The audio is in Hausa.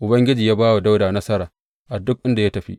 Ubangiji ya ba wa Dawuda nasara a duk inda ya tafi.